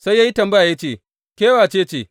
Sai ya yi tambaya ya ce, Ke wace ce?